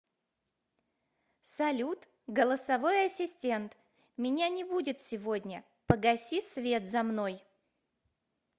салют голосовой ассистент меня не будет сегодня погаси свет за мной